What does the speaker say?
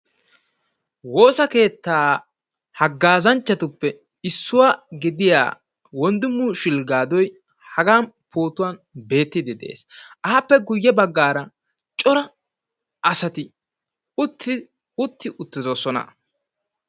Woosa keettaa hagaazanchchatuppe issuwa gidida Wondimu Shulgaadoy hagaan pootuwan beettidi dees. Appe guye baggaara cora asati utti uttidosona.